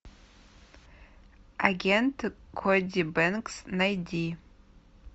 агент коди бэнкс найди